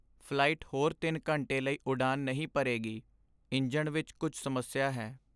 flight ਹੋਰ ਤਿੰਨ ਘੰਟੇ ਲਈ ਉਡਾਣ ਨਹੀਂ ਭਰੇਗੀ ਇੰਜਣ ਵਿੱਚ ਕੁੱਝ ਸਮੱਸਿਆ ਹੈ